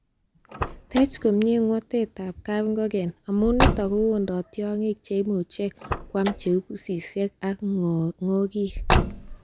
Tech komie ngwotwet ab kapingogen, amun niton kowondo tiongik cheimuch kwam cheu pusisiek ak ng'okik.